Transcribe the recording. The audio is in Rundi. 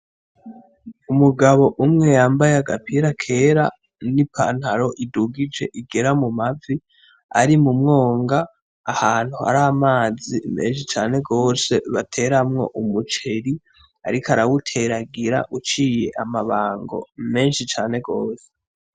Umugabo umwe yambaye agapira kera n'ipantaro idugije igera mumavi ari mu mwonga ahantu hari amazi menshi cane gose bateramwo umuceri ariko arawuteragira iciriye amabango menshi cane gose.